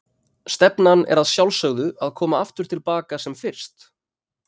Stefnan er að sjálfsögðu að koma aftur til baka sem fyrst?